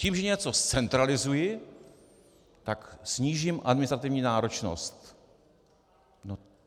Tím, že něco zcentralizuji, tak snížím administrativní náročnost.